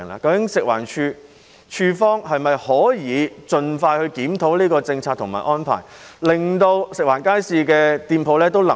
究竟食環署可否盡快檢討有關政策和安排，令食環署街市食店的經營狀況能夠改善呢？